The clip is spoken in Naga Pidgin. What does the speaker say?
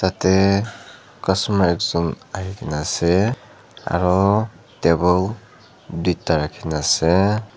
Tatey customer ekjun ahikena ase aro table duida rakhikena ase.